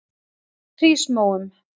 Hrísmóum